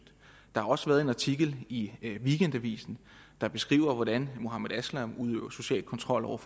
der har også været en artikel i weekendavisen der beskriver hvordan muhammed aslam udøver social kontrol over